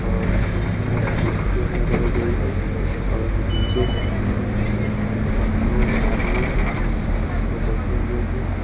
और यहां पर कुर्सियां लगाई गई हैं और डी_जे साउंड बॉक्स है और दो आदमी हैं जो सीट पे बैठे हुए हैं।